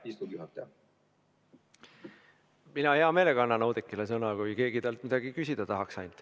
Mina annaksin hea meelega Oudekkile sõna, kui ainult keegi temalt midagi küsida tahaks.